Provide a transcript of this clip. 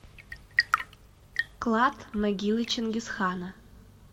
клад могилы чингисхана